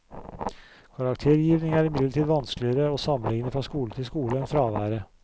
Karaktergivning er imidlertid vanskeligere å sammenligne fra skole til skole enn fraværet.